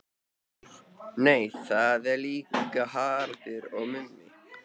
Nei það er líka Haraldur og Mummi.